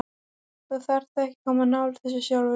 Þú þarft ekki að koma nálægt þessu sjálfur.